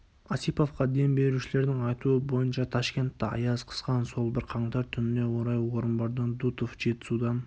осиповқа дем берушілердің айтуы бойынша ташкентті аяз қысқан сол бір қаңтар түніне қарай орынбордан дутов жетісудан